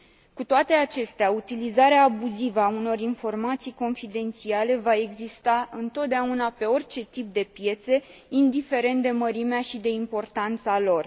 Cu toate acestea, utilizarea abuzivă a unor informații confidențiale va exista întotdeauna pe orice tip de piețe, indiferent de mărimea și de importanța lor.